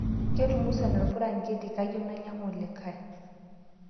Ketumusana lpuranketi kayieu nainyangu likai